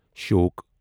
Shyok